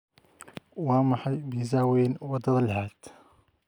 waa maxay pizza weyn wadada lixaad